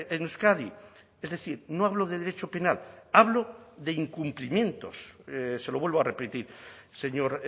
en euskadi es decir no hablo de derecho penal hablo de incumplimientos se lo vuelvo a repetir señor